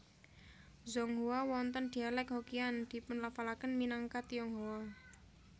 Zhonghua wonten dialek Hokkian dipunlafalaken minangka Tionghoa